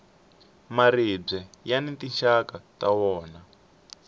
maribye yani tinxaka ta wona